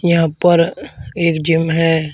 यहां प र एक जिम है।